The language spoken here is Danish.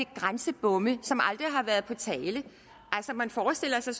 grænsebomme som aldrig har været på tale man forestiller sig